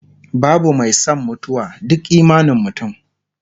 babu Mai San mutuwa, duk imanin mutum